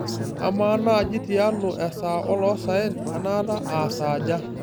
amaa naaji tialo esaa oloosaen enaata aasaaja